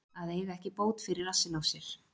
Að eiga ekki bót fyrir rassinn á sér